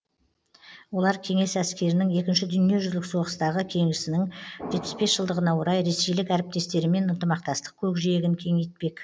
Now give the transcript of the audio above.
олар кеңес әскерінің екінші дүниежүзілік соғыстағы жеңісінің жетпіс бес жылдығына орай ресейлік әріптестерімен ынтымақтастық көкжиегін кеңейтпек